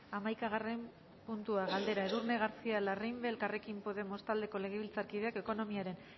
hamaikagarren puntua galdera edurne garcía larrimbe elkarrekin podemos taldeko legebiltzarkideak ekonomiaren